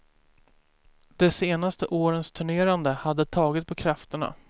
De senaste årens turnerande hade tagit på krafterna.